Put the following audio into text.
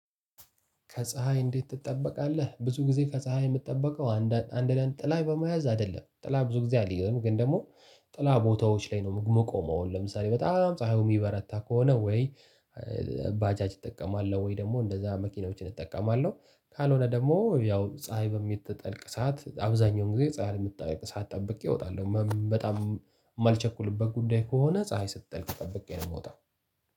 ከፀሀይ እንዴት ትጠበቃለህ? ብዙ ጊዜ ከፀሀይ የምትጠበቀው አንድ ለአንድ ጥላ በመያዝ አይደለም። ጥላ ብዙ ጊዜ አልይዝም። ግን ደግሞ ጥላ ቦታዎች ላይ ነው ምቆመውን ለምሳሌ በጣም ፀሀዩ የሚበረታ ከሆነ ወይ ባጃጅ እጠቀማለሁ። ወይ ደግሞ እንደዛ መኪናዎችን እጠቀማለሁ። ካልሆነ ደግሞ ያው ፀሀይ በሚጠልቅ ሰዓት አብዛኛውን ጊዜ ፀሀይ የምትጠልቅ ሰዓት ጠብቀ እወጣለሁ። በጣም የማልቸኩልበት ጉዳይ ከሆነ ፀሀይ ስትጠልቅ ጠብቀ ነው የምወጣው።